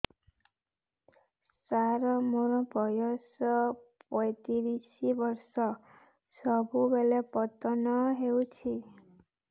ସାର ମୋର ବୟସ ପୈତିରିଶ ବର୍ଷ ସବୁବେଳେ ପତନ ହେଉଛି